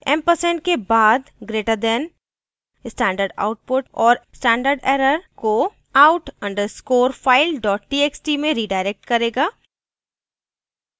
& ampersand के बाद greater than stdout और stderr को out _ underscore file txt में redirect करेगा